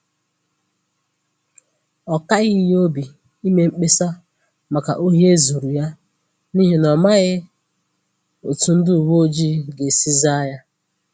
Ọ kaghị ya obi ime mkpesa maka ohi e zuru ya, n’ihi na ọ̀ maghị̀ otú ndị uweojii gā-esi zàa ya